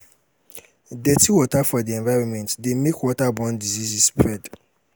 dirty water for di environment de make waterborne diseases spread